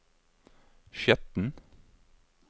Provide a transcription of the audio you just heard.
Skjetten